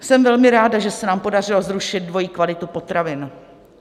Jsem velmi ráda, že se nám podařilo zrušit dvojí kvalitu potravin.